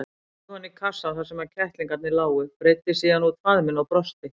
Hann horfði oní kassann þar sem kettlingarnir lágu, breiddi síðan út faðminn og brosti.